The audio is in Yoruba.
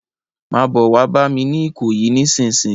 Má bò wá bàmi ni Ikoyi nisinsin